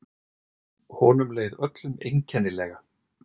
Honum leið öllum einkennilega.